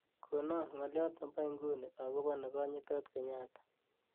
nkonon ng'olyot nebo inguni agopo kegonyotot kenyatta